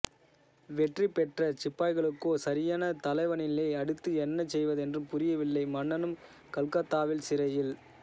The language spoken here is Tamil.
வெற்றி பெற்ற சிப்பாய்களுக்கோ சரியான தலைவனில்லை அடுத்து என்ன செய்வதென்றும் புரியவில்லை மன்னனும் கல்கத்தாவில் சிறையில்